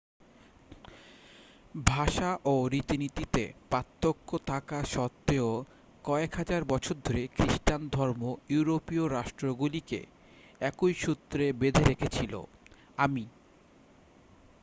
ভাষা ও রীতিনীতিতে পার্থক্য থাকা সত্ত্বেও কয়েক হাজার বছর ধরে খ্রিস্টান ধর্ম ইউরোপীয় রাষ্ট্রগুলিকে একই সূত্রে বেধে রেখেছিল আমি